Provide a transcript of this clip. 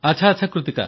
ଆଚ୍ଛା ଆଚ୍ଛା